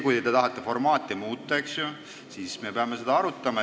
Kui te tahate formaati muuta, siis me peame seda arutama.